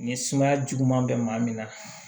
Ni sumaya juguman bɛ maa min na